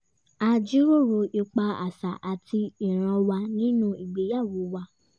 a jíròrò ipa àṣà àti ìranwa nínú ìgbéyàwó wa